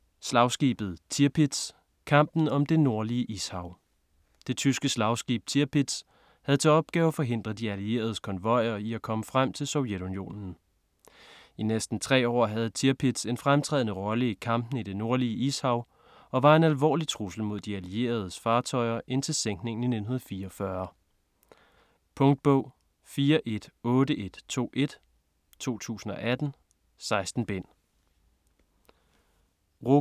Slagskibet Tirpitz: kampen om det Nordlige Ishav Det tyske slagskib Tirpitz havde til opgave at forhindre de allieredes konvojer at komme frem til Sovjetunionen. I næsten tre år havde Tirpitz en fremtrædende rolle i kampene i det nordlige Ishav og var en alvorlig trussel mod de allieredes fartøjer indtil sænkningen i 1944. Punktbog 418121 2018. 16 bind.